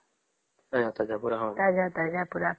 ତାଜା ତାଜା ପୁରା